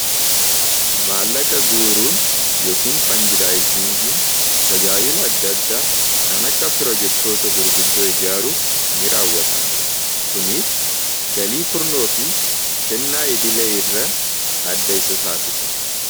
Maallaqa guuruun yookiin fandiraazingin tajaajila adda addaa kan akka pirojektoota gurguddoo ijaaruuf ni raawwatama. Kuniis galii kurnoo fi kennaa idilee irra adda isa taasisa.